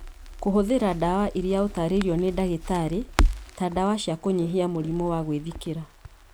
Kũhũthĩra ndawa iria ũtaarĩirio nĩ ndagĩtarĩ ta ndawa cia kũnyihia mũrimũ wa gwĩthikĩra